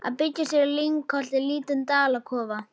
Að byggja sér í lyngholti lítinn dalakofa.